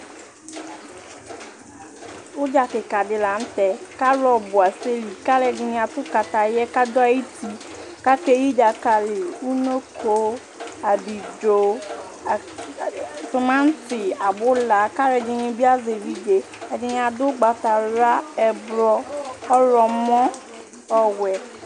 udza keka di lantɛ k'alo ɔbu asɛ li k'aloɛdi ato kataya k'ado ayiti k'akeyi dzakali unoko abidzo tomati abula k'aloɛdini bi azɛ evidze ɛdini ado ugbata wla ublɔ ɔwlɔmɔ ɔwɛ